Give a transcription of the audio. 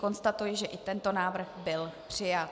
Konstatuji, že i tento návrh byl přijat.